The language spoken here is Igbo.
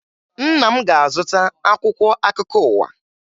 Nna m ga-azụta akwụkwọ akụkọ ụwa